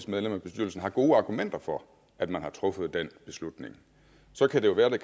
medlem af bestyrelsen har gode argumenter for at man har truffet den beslutning så kan det jo være at det